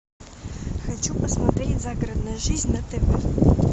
хочу посмотреть загородная жизнь на тв